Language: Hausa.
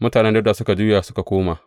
Mutanen Dawuda suka juya suka koma.